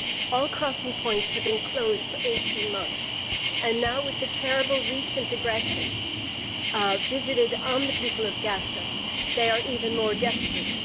All crossing points have been closed for 18 months and now, with the terrible recent aggression visited on the people of Gaza, they are even more desperate.